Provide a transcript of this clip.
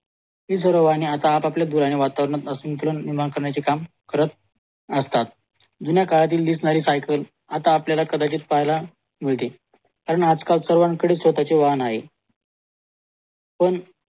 हीसर्व आणि आता आपापल्या दुराने वातावरणात असून काम करत असतात जुन्या काढतील दिसणारी सायकल आता आपल्याला कदाचित पाहायला मिळतील कारण आजकाल सगड्यां कडे स्वतः चे वाहन आहे पण